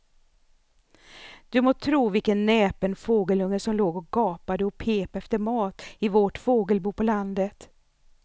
Du må tro vilken näpen fågelunge som låg och gapade och pep efter mat i vårt fågelbo på landet.